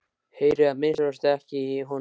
Heyri að minnsta kosti ekki í honum.